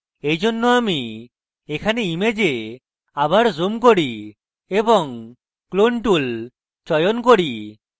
এইজন্য আমি এখানে image আবার zoom করি এবং clone tool চয়ন করি